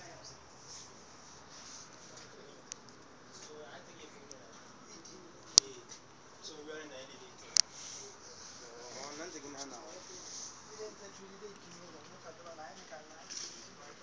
hang ha ho se ho